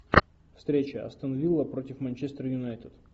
встреча астон вилла против манчестер юнайтед